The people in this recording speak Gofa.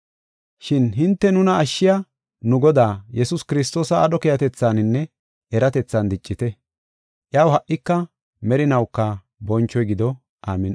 Shin hinte nuna ashshiya nu Godaa, Yesuus Kiristoosa aadho keehatethaaninne eratethan diccite. Iyaw ha77ika merinawuka bonchoy gido. Amin7i.